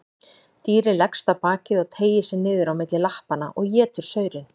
Dýrið leggst á bakið og teygir sig niður á milli lappanna og étur saurinn.